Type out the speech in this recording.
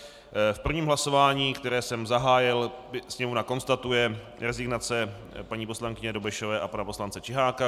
V prvním hlasování, které jsem zahájil, Sněmovna konstatuje rezignace paní poslankyně Dobešové a pana poslance Čiháka.